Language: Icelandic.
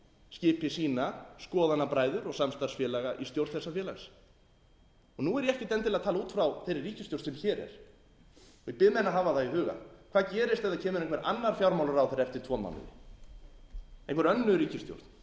skipi sína skoðanabræður og samstarfsfélaga í stjórn þessa félags nú er ég ekkert endilega að tala út frá þeirri ríkisstjórn sem hér er ég bið menn að hafa það í huga hvað gerist ef það kemur einhver annar fjármálaráðherra eftir tvo mánuði einhver önnur ríkisstjórn ég ætla